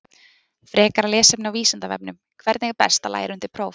Frekara lesefni á Vísindavefnum: Hvernig er best að læra undir próf?